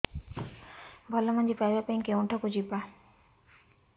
ଭଲ ମଞ୍ଜି ପାଇବା ପାଇଁ କେଉଁଠାକୁ ଯିବା